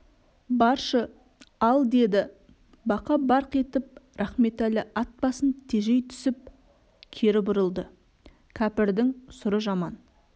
баршы ал деді бақа барқ етіп рахметәлі ат басын тежей түсіп кері бұрылды кәпірдің сұры жаман